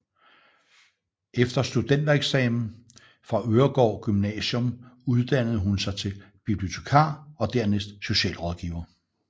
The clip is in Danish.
Efter studentereksamen fra Øregaard Gymnasium uddannede hun sig til bibliotekar og dernæst socialrådgiver